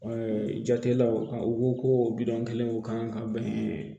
jatelaw a u ko koo kelen o kan ka bɛn